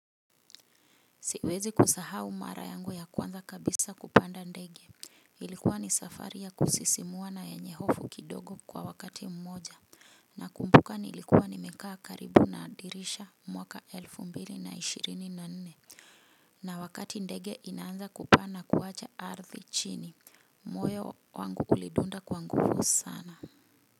Siwezi kusahau mara yangu ya kwanza kabisa kupanda ndege. Ilikuwa ni safari ya kusisimua na yenye hofu kidogo kwa wakati mmoja. Nakumbuka nilikuwa nimekaa karibu na dirisha mwaka elfu mbili na ishirini na nne. Na wakati ndege inaanza kupaa na kuwacha ardhi chini. Moyo wangu ulidunda kwa nguvu sana.